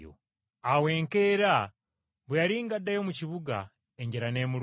Awo enkeera bwe yali ng’addayo mu kibuga n’alumwa enjala,